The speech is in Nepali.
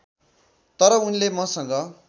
तर उनले मसँग